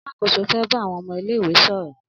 Alákóso fẹ bá àwọn ọmọ ilé ìwé sọrọ